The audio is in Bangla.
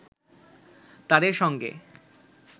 তাদের সঙ্গে